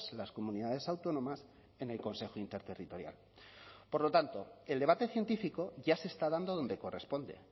las comunidades autónomas en el consejo interterritorial por lo tanto el debate científico ya se está dando donde corresponde